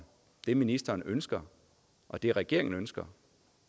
det ministeren ønsker og det regeringen ønsker